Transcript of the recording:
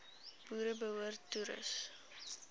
boere behoorlik toerus